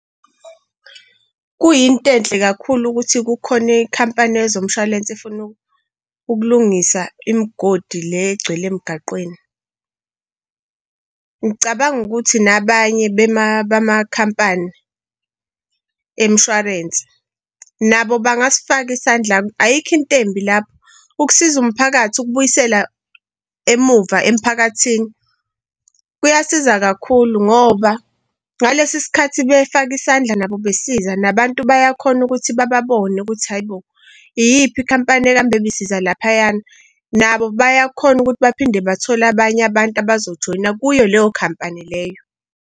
Kuyinto enhle kakhulu ukuthi kukhona i-company yezomshwalense efuna ukulungisa imigodi le egcwele emgaqweni. Ngicabanga ukuthi nabanye bama-company yemshwalense nabo bangasifaka isandla. Ayikho into embi lapho ukusiza umphakathi ukubuyisela emuva emphakathini kuyasiza kakhulu ngoba ngalesi sikhathi befaka isandla nabo besiza nabantu bayakhona ukuthi babone ukuthi hayi bo iyiphi i-company engabe ibisiza laphayana nabo bayakhona ukuthi baphinde bathole abanye abantu abazojoyina kuyo leyo company leyo.